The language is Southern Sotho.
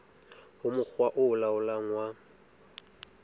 ho mokga o laolang wa